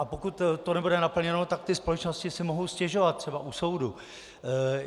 A pokud to nebude naplněno, tak ty společnosti si mohou stěžovat třeba u soudu.